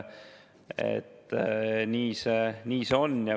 Nii see on.